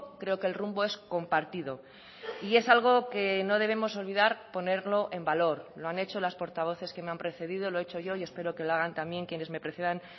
creo que el rumbo es compartido y es algo que no debemos olvidar ponerlo en valor lo han hecho las portavoces que me han precedido lo he hecho yo y espero que lo hagan también quienes me precedan